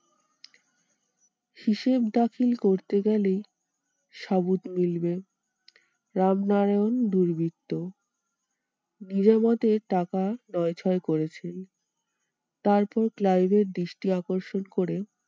হিসেব দাখিল করতে গেলে মিলবে রামনারায়ণ দুর্বৃত্ত। নিজামতের টাকা নয় ছয় করেছেন। তারপর ক্লাইভের দৃষ্টি আকর্ষণ করে